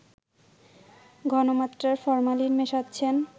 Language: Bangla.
ঘনমাত্রার ফরমালিন মেশাচ্ছেন